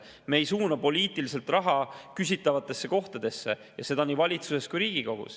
Me ei suuna poliitiliselt raha küsitavatesse kohtadesse ja seda ei valitsuses ega Riigikogus.